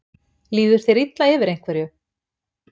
Líður þér illa yfir einhverju?